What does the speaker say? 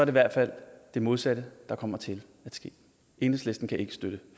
i hvert fald det modsatte der kommer til at ske enhedslisten kan ikke støtte